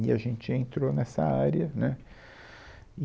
E a gente entrou nessa área, né e.